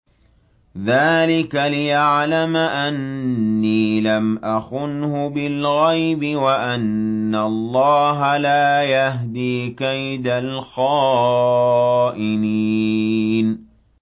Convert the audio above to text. ذَٰلِكَ لِيَعْلَمَ أَنِّي لَمْ أَخُنْهُ بِالْغَيْبِ وَأَنَّ اللَّهَ لَا يَهْدِي كَيْدَ الْخَائِنِينَ